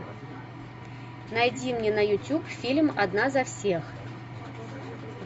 найди мне на ютуб фильм одна за всех